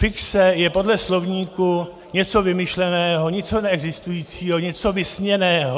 Fikce je podle slovníku něco vymyšleného, něco neexistujícího, něco vysněného.